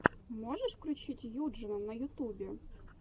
можешь включить юджина на ютубе